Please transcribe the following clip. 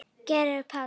Georg Páll.